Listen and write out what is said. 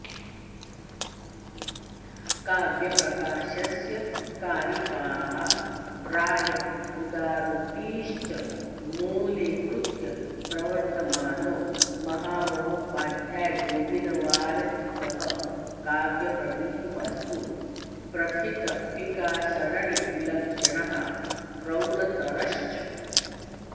काव्यप्रकाशस्य कारिकाः प्राय उदाहृतीश्च मूलीकृत्य प्रवर्तमानो महामहोपाध्यायगोविन्वारचितः काव्यप्रदीपस्तु प्रथितटीकासरणिविलक्षणः प्रौढतरश्च